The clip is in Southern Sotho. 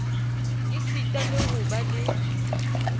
esita le ho ba le